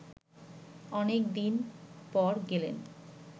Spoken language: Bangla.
অনেক দিন পর গেলেন